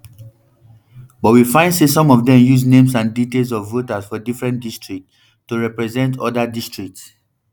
but we find say some of dem use names and details of voters for different districts to to represent oda districts